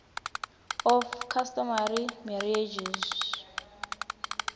of customary marriages